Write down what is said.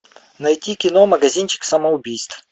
найти кино магазинчик самоубийств